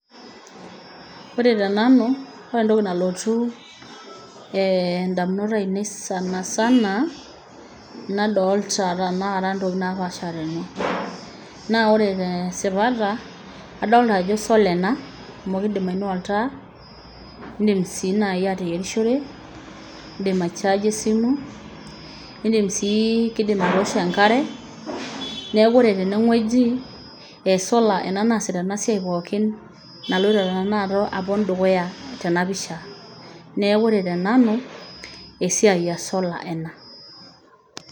Ore te nanu ore entoki nalotu ee ndamunot ainei sana sana nadolta tenakata ntokitin napaasha tene. Naa ore tee sipata adolta ajo solar ena amu indim ainua oltaa, indim sii nai ateyerishore, indim ai charge e esimu, indim sii kiindim atoosho enkare. Neeku ore tene wueji e solar ena naasita ena siai pookin naloito tenaato alo dukuya tena pisha. Neeku ore te nanu esiai e solar ena.